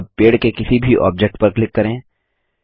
अब पेड़ के किसी भी ऑब्जेक्ट पर क्लिक करें